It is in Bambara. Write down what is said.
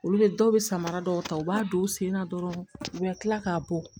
Olu bɛ dɔw bɛ samara dɔw ta u b'a don u senna dɔrɔn u bɛ kila k'a bɔ